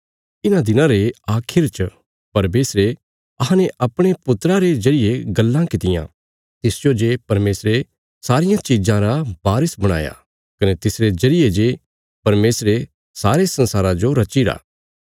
इन्हां दिनां रे आखिर च परमेशरे अहांने अपणे पुत्रा रे जरिये गल्लां कित्तियां तिसजो जे परमेशरे सारियां चिज़ां रा बारस बणाया कने तिसरे जरिये जे परमेशरे सारे संसारा जो रचीरी